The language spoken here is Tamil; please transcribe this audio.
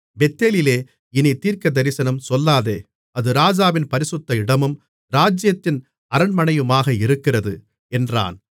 பெத்தேலிலே இனித் தீர்க்கதரிசனம் சொல்லாதே அது ராஜாவின் பரிசுத்த இடமும் ராஜ்ஜியத்தின் அரண்மனையுமாக இருக்கிறது என்றான்